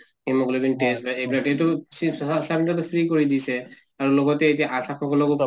hemoglobin test বা এইবিলাক এইটো free কৰি দিছে আৰু লগতে এতিয়া ASHA সকলক